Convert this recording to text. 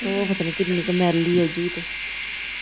ਉਹ ਪਤਾ ਨੀ ਕਿੰਨੀ ਕ ਮੈਲੀ ਆ ਜੂ ਤ ।